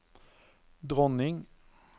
dronning